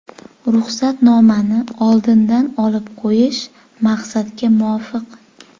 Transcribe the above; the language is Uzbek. Ruxsatnomani oldindan olib qo‘yish maqsadga muvofiq.